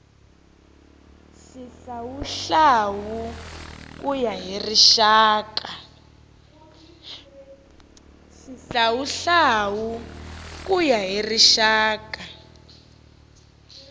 xihlawuhlawu ku ya hi rixaka